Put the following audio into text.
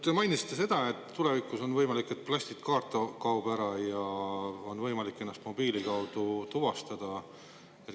Te mainisite, et tulevikus on võimalik, et plastkaart kaob üldse ära ja on võimalik ennast mobiili kaudu tuvastada.